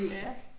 Ja